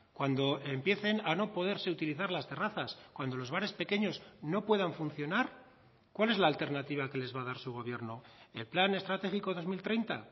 cuando empiecen a no poderse utilizar las terrazas cuando los bares pequeños no puedan funcionar cuál es la alternativa que les va a dar su gobierno el plan estratégico dos mil treinta